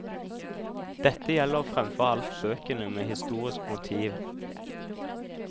Dette gjelder fremfor alt bøkene med historisk motiv.